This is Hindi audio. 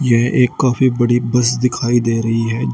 ये एक काफी बड़ी बस दिखाई दे रही है जि --